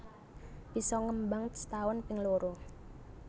Bisa ngembang setaun ping loro